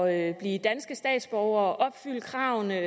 at blive danske statsborgere og opfylde kravene